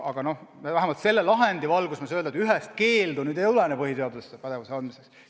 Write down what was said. Aga vähemalt selle lahendi valguses ma saan öelda, et ühest keeldu põhiseaduses selle pädevuse andmiseks ei ole.